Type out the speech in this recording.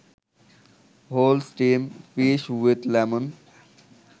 whole steam fish with lemon